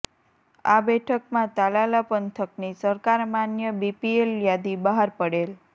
આ બેઠકમાં તાલાલા પંથકની સરકાર માન્ય બીપીએલ યાદી બહાર પડેલ